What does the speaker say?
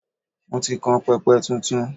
Mo ti kan pẹpẹ tuntun.